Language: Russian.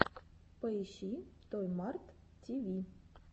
поищи той март ти ви